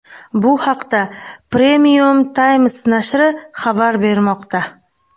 Bu haqda Premium Times nashri xabar bermoqda .